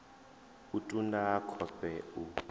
u ṱun ḓa khovhe u